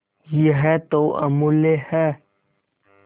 यह तो अमुल्य है